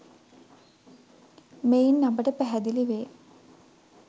මෙයින් අපට පැහැදිලි වේ